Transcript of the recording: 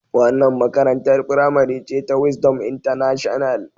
Wannan makarantar firamare ce ta Wisdom international.